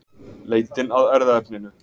Leitin að erfðaefninu